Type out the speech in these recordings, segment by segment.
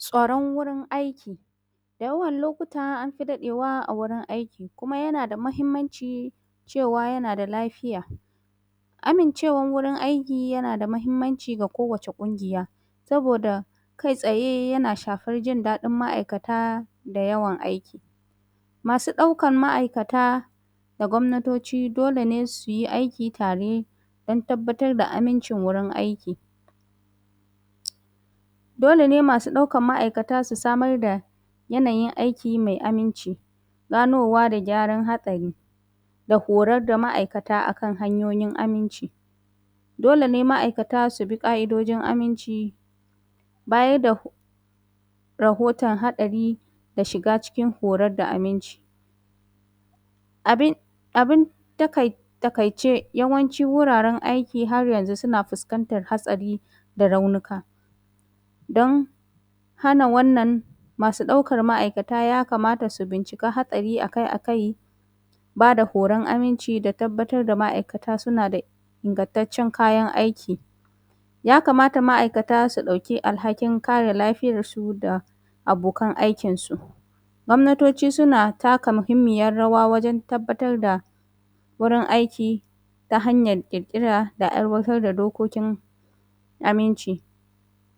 Tsoron wurin aiki, da yawan lokuta an fi daɗewa a wurin aiki kuma yana da muhimmanci cewa yana da lafiya. Amincewan wurin aiki yana da muhimmanci ga kowace ƙungiya, saboda kai tsaye yana shafar jin daɗin ma’aikata da yawan aiki. Masu ɗaukan ma’aikata da gwamnaoci, dole ne su yi aiki tare dan tabbatar da amincin wurin aiki. Dole ne masu ɗaukan ma’aikata su samar da yanayin aii mai aminci, ganowa da gyaran hatsari da horan ma’aikata a kan hanyoyin aminci. Dole ma’aikata su bi ƙa’idojin aminci, baya da ho rahotan haɗari da shiga cikin horad da aminci.. Abin abin takai takaiiee yawancin wuraren aiki har yanzu suna fuskantan hatsari da raunika. Dan hana wannan masu ɗaukan ma’akata yakamata su bincika haɗari a kai a kai. Ba da horan aminci da tabbatar da ma’aikata suna da ingantaccen kayan aiki. yakamata ma’aikata su ɗauki alhakin kae kansu da abokan aikinsu. Gwamnatoci suna taka muhimmiyar rawa wajen tabbatar da wurin aiki, ta hanyar ƙirƙira da aiwatar da dokokin aminci.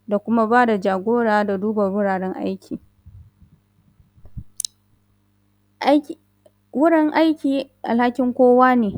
Da kuma ba da jagora da duba wuraren aiki. Aiki wurin aiki alhakin kowa ne.